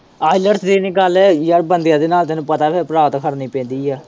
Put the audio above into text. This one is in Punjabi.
ielts ਦੀ ਗੱਲ ਹੈਗੀ ਯਾਰ ਬੰਦਿਆ ਦੇ ਨਾਲ਼ ਤੈਨੂੰ ਪਤਾ ਪਰਾਥ ਖੜਨੀ ਪੈਂਦੀ ਏ।